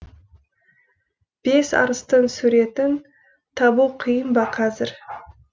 бес арыстың суретін табу қиын ба қазір